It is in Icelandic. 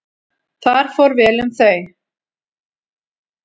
Þar fór vel um þau.